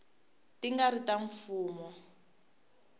ti nga ri ta mfumo